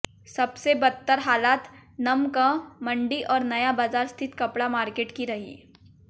सबसे बदतर हालात नमकमंडी और नया बाजार स्थित कपड़ा मार्केट की रही